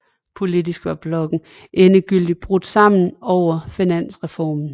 Politisk var blokken endegyldigt brudt sammen over finansreformen